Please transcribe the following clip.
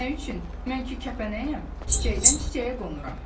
Mən ki kəpənəyəm, çiçəkdən çiçəyə qonuram.